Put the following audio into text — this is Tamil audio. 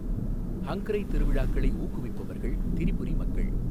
ஹங்க்ரை திருவிழாக்களை ஊக்குவிப்பவர்கள் திரிபுரி மக்கள்.